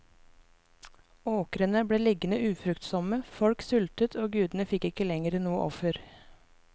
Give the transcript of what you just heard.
Åkrene ble liggende ufruktsomme, folk sultet og gudene fikk ikke lenger noe offer.